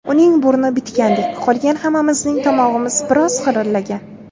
Uning burni bitgandek, qolgan hammamizning tomog‘imiz biroz xirillagan.